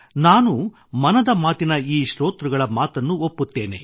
ನಾನೂ ಮನದ ಮಾತಿನ ಈ ಶ್ರೋತೃಗಳ ಮಾತನ್ನು ಒಪ್ಪುತ್ತೇನೆ